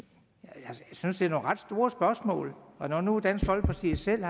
synes det er nogle ret store spørgsmål og når nu dansk folkeparti selv